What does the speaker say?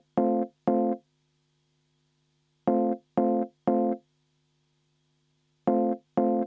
Väga hea!